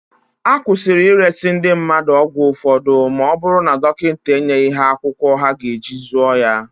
Akwụsịrị ịresị ndị mmadụ ọgwụ ụfọdụ ma ọ bụrụ na dọnkịnta enyeghị ha akwụkwọ ha ga-eji zụọ ya.